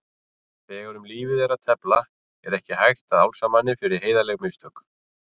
Þegar um lífið er að tefla er ekki hægt að álasa manni fyrir heiðarleg mistök.